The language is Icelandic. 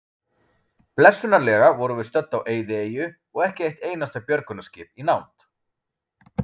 Blessunarlega vorum við stödd á eyðieyju og ekki eitt einasta björgunarskip í nánd.